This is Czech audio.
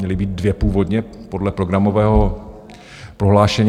Měly být dvě původně podle programového prohlášení.